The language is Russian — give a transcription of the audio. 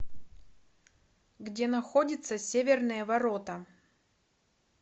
где находится северные ворота